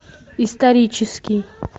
исторический